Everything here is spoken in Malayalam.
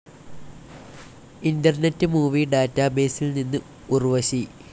ഇന്റർനെറ്റ്‌ മൂവി ഡാറ്റാബേസിൽ നിന്ന് ഉർവശി